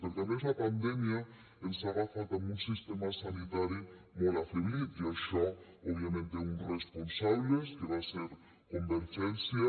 perquè a més la pandèmia ens ha agafat amb un sistema sanitari molt afeblit i això òbviament té uns responsables que va ser convergència